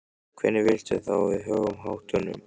Hvernig viltu þá að við högum háttunum?